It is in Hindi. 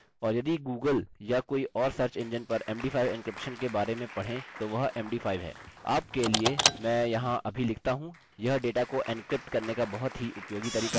और यदि google या कोई और सर्च इंजिन पर md5 encryption के बारे में पढ़ें तो वह m d 5 है आपके लिए मैं यहाँ अभी लिखता हूँ यह डेटा को एन्क्रिप्ट करने का बहुत ही उपयोगी तरीका है